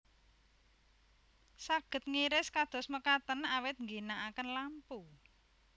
Saged ngiris kados mekaten awit ngginakaken lampu